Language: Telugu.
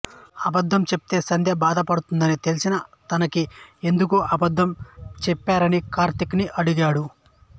అబద్ధం చెప్తే సంధ్య బాధపడుతుందని తెలిసినా తనకి ఎందుకు అబద్ధం చెప్పారని కార్తీక్ ని అడిగాడు